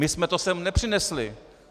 My jsme to sem nepřinesli.